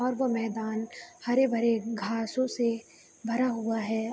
और वो मैदान हरे-भरे घासो से भरा हुआ है।